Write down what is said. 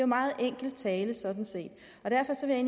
meget enkel tale sådan set